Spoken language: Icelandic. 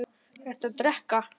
Ertu að drekka?